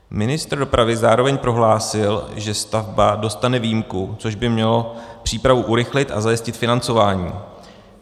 Ministr dopravy zároveň prohlásil, že stavba dostane výjimku, což by mělo přípravu urychlit a zajistit financování.